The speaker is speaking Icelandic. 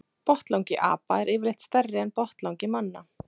Botnlangi apa er yfirleitt stærri en botnlangi manna.